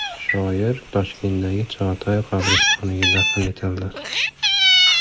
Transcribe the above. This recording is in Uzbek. Shoir Toshkentdagi Chig‘atoy qabristoniga dafn etildi .